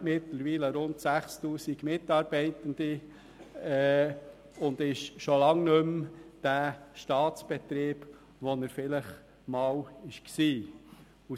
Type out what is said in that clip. Sie hat inzwischen rund 6000 Mitarbeitende und ist schon lange nicht mehr der Staatsbetrieb, den sie vielleicht einmal war.